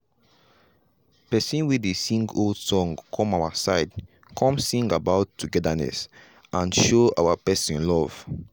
pesin wey dey sing old song come our side come sing about togetherness and show person love.